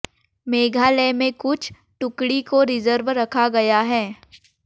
मेघालय में कुछ टुकड़ी को रिजर्व रखा गया है